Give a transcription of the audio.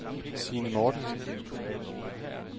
Sine Mortensen